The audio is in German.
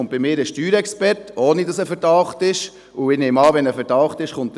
Etwa alle zehn Jahre erscheint bei mir ein Steuerexperte.